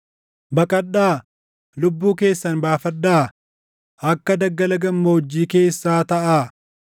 Baqadhaa! Lubbuu keessan baafadhaa; akka daggala gammoojjii keessaa taʼaa.